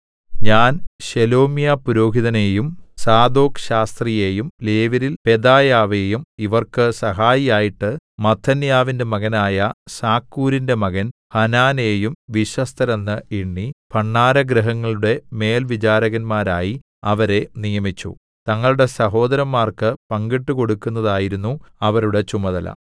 ഞാൻ ശേലെമ്യാപുരോഹിതനെയും സാദോക്ക്ശാസ്ത്രിയെയും ലേവ്യരിൽ പെദായാവെയും ഇവർക്ക് സഹായിയായിട്ട് മത്ഥന്യാവിന്റെ മകനായ സക്കൂരിന്റെ മകൻ ഹാനാനെയും വിശ്വസ്തരെന്ന് എണ്ണി ഭണ്ഡാരഗൃഹങ്ങളുടെ മേൽവിചാരകന്മാരായി അവരെ നിയമിച്ചു തങ്ങളുടെ സഹോദരന്മാർക്ക് പങ്കിട്ടുകൊടുക്കുന്നതായിരുന്നു അവരുടെ ചുമതല